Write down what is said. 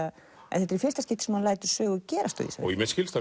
en þetta er í fyrsta skipti sem hann lætur sögu gerast á Ísafirði mér skilst